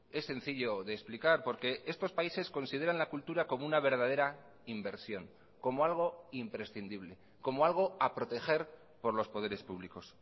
es sencillo de explicar porque estos países consideran la cultura como una verdadera inversión como algo imprescindible como algo a proteger por los poderes públicos